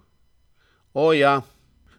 O, ja!